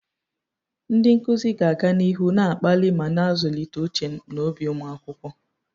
Ndị nkuzi ga-aga n'ihu na-akpali ma na-azụlite uche na obi ụmụ akwụkwọ.